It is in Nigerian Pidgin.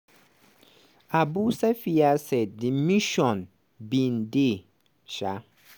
abu safiya say di mission bin dey um